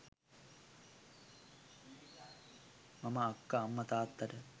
මම අක්කා අම්මා තාත්තාට